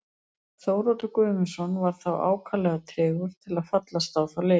Þóroddur Guðmundsson var þó ákaflega tregur til að fallast á þá leið.